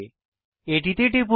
এটিতে টিপুন